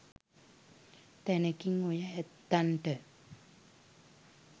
තැනකින් ඔය ඇත්තන්ට